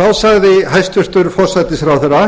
þá sagði hæstvirtur forsætisráðherra